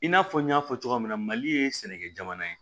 I n'a fɔ n y'a fɔ cogoya min na mali ye sɛnɛkɛ jamana ye